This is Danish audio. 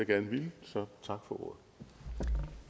gerne ville så så